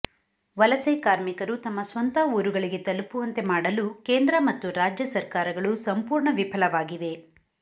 ವಲಸೆ ಕಾರ್ಮಿಕರು ತಮ್ಮ ಸ್ವಂತ ಊರುಗಳಿಗೆ ತಲುಪುವಂತೆ ಮಾಡಲು ಕೇಂದ್ರ ಮತ್ತು ರಾಜ್ಯ ಸರ್ಕಾರಗಳು ಸಂಪೂರ್ಣ ವಿಫಲವಾಗಿವೆ